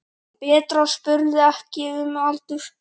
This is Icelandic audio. Bretar spurðu ekki um aldur.